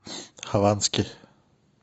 хованский